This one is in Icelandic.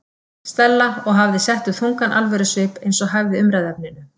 Stella og hafði sett upp þungan alvörusvip eins og hæfði umræðuefninu.